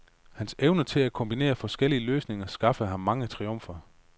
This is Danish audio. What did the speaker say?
Hans evne til at kombinere forskellige løsninger skaffede ham mange triumfer.